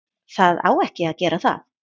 Það á ekki að gera það.